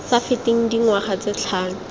sa feteng dingwaga tse tlhano